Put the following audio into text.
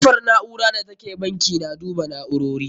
Kofar na'ura da ke bankin na duba na'urori.